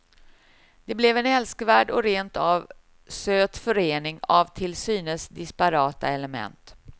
Det blev en älskvärd och rent av söt förening av till synes disparata element.